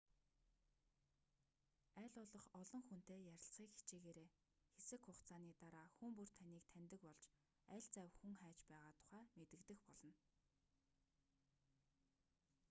аль болох олон хүнтэй ярилцахыг хичээгээрэй хэсэг хугацааны дараа хүн бүр таныг таньдаг болж аль завь хүн хайж байгаа тухай мэдэгдэх болно